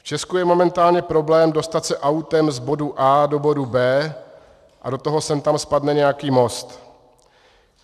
V Česku je momentálně problém dostat se autem z bodu A do bodu B a do toho sem tam spadne nějaký most.